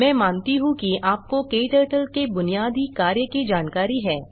मैं मानता हूँ कि आपको क्टर्टल के बुनियादी कार्य की जानकारी है